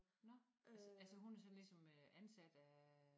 Nå altså altså hun er så ligesom øh ansat af